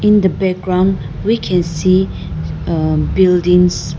in the background we can see uh buildings.